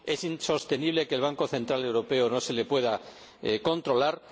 es insostenible que al Banco Central Europeo no se le pueda controlar